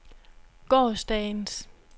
gårsdagens